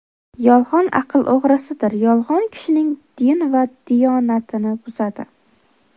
Yolg‘on aql o‘g‘risidir, yolg‘on kishining din va diyonatini buzadi.